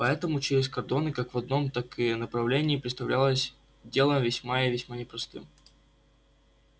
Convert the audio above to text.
поэтому пробраться через кордоны как в одном так и направлении представлялось делом весьма и весьма непростым